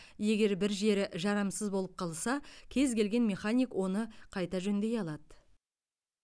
егер бір жері жарамсыз болып қалса кез келген механик оны қайта жөндей алады